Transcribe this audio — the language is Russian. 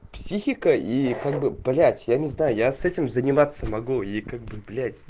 психика и как бы блять я не знаю я с этим заниматься могу и как бы блять